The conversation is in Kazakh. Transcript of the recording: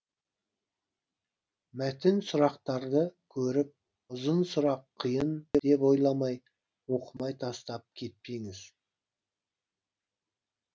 мәтін сұрақтарды көріп ұзын сұрақ қиын деп ойламай оқымай тастап кетпеңіз